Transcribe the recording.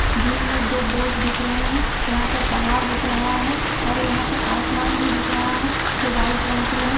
झील में दो बोट दिख रहा है| यहाँ पर पहाड़ दिख रहा है और यहाँ पर आसमान भी दिख रहा है जो व्हाइट रंग की है।